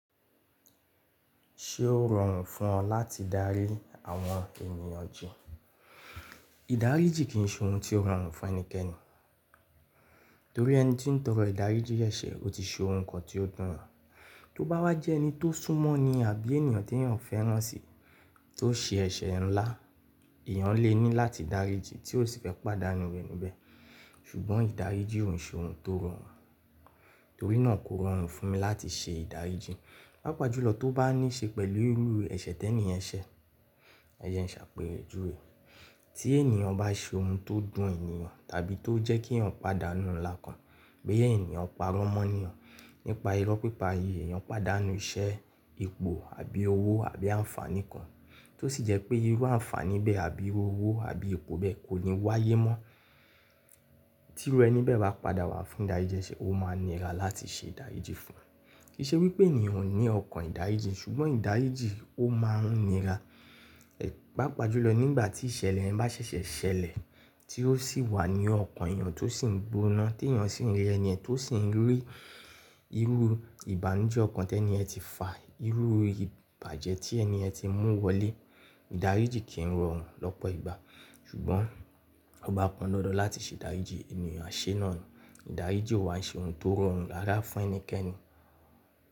Ṣé ó rọrùn fún ọ láti darí àwọn ènìyàn jù? Ìdáríjì kì í ṣe ohun tó rọrùn fún ẹnikẹ́ni, torí ẹni tí ń tọrọ ìdáríjì ẹ̀ṣẹ̀ ó ti ṣe ohun kan tó dùn wọ́n. Tó bá wá jẹ́ ẹni tó sún mọ́ ni àbí ènìyàn tí èèyàn fẹ́ràn si tó ṣe ẹ̀ṣẹ̀ ńlá, èèyàn lè ní láti dáríjì tí ko sì fẹ́ pàdánù iru ẹni bẹ́ẹ̀. Ṣùgbọ́n ìdáríjì ki i ṣe ohun tó rọrùn, torí náà kò rọrùn fún mi láti ṣe ìdáríjì. Pàápàá jùlọ tó bá ní í ṣe pẹ̀lú irú ẹ̀ṣẹ̀ ti ẹni yẹn ń ṣẹ̀, ẹ jẹ ṣàpejúwe. Tí èniyàn bá ṣe ohun tó dùn èniyàn tàbí tó jẹ́ kí èèyàn pàdánù ńlá kan, boyii eniyàn pa irọ́ mọ́ eniyàn, nípa irọ́ pípa yií, èèyàn pàdánù iṣẹ́, epo àbí owó àbí àǹfààní kan tó sì jẹ́ pé irú àǹfààní bẹ́ àbí irú owó àbí epo bẹ́ kò ní wáyé mọ́. Tí irú ẹni bẹ́ bá padà wà fún ìdáríjì ẹṣẹ, ó máa nira láti ṣe ìdáríjì fún. Kì í ṣe wípé èèyàn ò ní ọkàn ìdáríjì, ṣùgbọ́n ìdáríjì ó máa ń nira. Pápá jùlọ, nígbà tí ìṣẹ̀lẹ̀ yẹn bá ṣẹ̀ṣẹ̀ ṣẹlẹ̀, tí ó sì wà ní ọkàn èèyàn tó sì ń gbóná, tí èèyàn sì ń rí ẹni yẹn tó sì ń rí irú ìbànújẹ́ ọkàn tí eni yẹn ti fà, irú ìbàjẹ́ tí ẹni yẹn ti mú wọlé, ìdáríjì kì í rọrùn lọ́pọ̀ ìgbà. Ṣùgbọ́n ó bá pọ́n dandan láti ṣe ìdáríjì, èèyàn á ṣe é náà ni. Ìdáríjì ò wà ṣe ohun tó rọrùn rárá fún ẹnikẹ́ni.